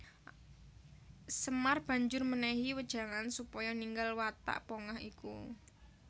Semar banjur mènèhi wejangan supaya ninggal watak pongah iku